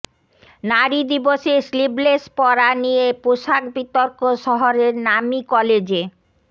নারী দিবসে স্লিভলেস পরা নিয়ে পোশাক বিতর্ক শহরের নামী কলেজে